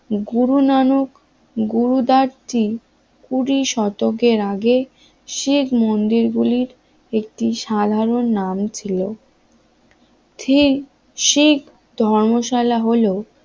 গুরু নানক গুরুদার টিম কুড়ি শতকের আগে গুরুমন্দির গুলির একটি সাধারণ নাম ছিল ঠিক শিখ ধর্মশালা হলো